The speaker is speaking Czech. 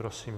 Prosím.